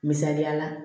Misaliya la